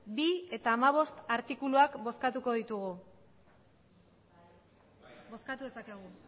bi eta hamabost artikuluak bozkatuko ditugu bozkatu dezakegu